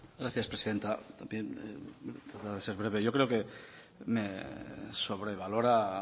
gracias presidenta bien para ser breve yo creo que me sobrevalora